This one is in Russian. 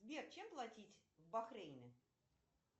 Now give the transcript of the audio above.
сбер чем платить в бахрейне